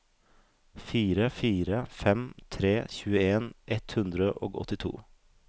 fire fire fem tre tjueen ett hundre og åttito